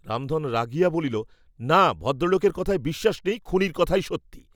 রামধন রাগিয়া বলিল, না ভদ্রলোকের কথায় বিশ্বাস নেই, খুনীর কথাই সত্যি।